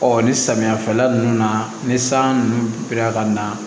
ni samiya fɛla ninnu na ni san ninnu bi na ka na